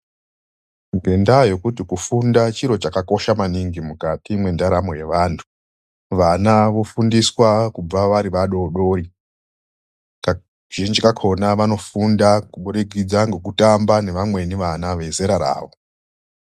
Ngendaa yekuti kufunda chiro chakakosha maningi mukati mendaramo yevantu. Vana vofundiswa kubva vari vadodori. Kazhinji kakona vanofunda kubudikidza ngokutamba nevamweni vana vezera ravo.